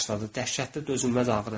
Dəhşətli dözülməz ağrı.